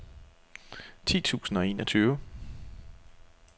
ti tusind og enogtyve